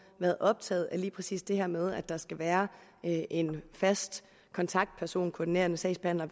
været optaget af lige præcis det her med at der skal være en fast kontaktperson en koordinerende sagsbehandler